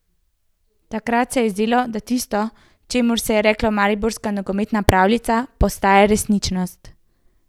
Takrat se je zdelo, da tisto, čemur se je reklo mariborska nogometna pravljica, postaja resničnost.